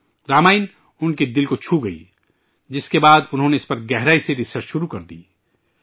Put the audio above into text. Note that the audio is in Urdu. ' رامائن ' ان کے دل کو چھو گئی ، جس کے بعد انہوں نے اس پر گہرائی سے ری سرچ شروع کردی